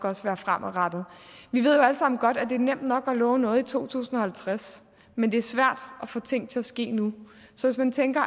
også være fremadrettede vi ved jo alle sammen godt at det er nemt nok at love noget i to tusind og halvtreds men det er svært at få ting til at ske nu så hvis man tænker